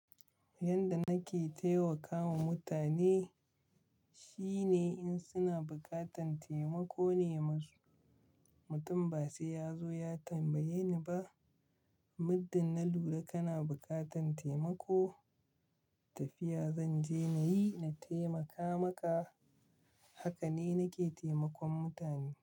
Yanda nake taimakawa mutane shine in suna bukatan taimako ne musu. Mutum ba sai ya zo ya tambaye ni ba, muddin na lura kana bukatan taimako tafiya zanje nayi na taimaka maka. Haka ne nake taimakon mutane.